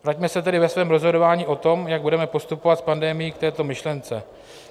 Vraťme se tedy ve svém rozhodování o tom, jak budeme postupovat s pandemií, k této myšlence.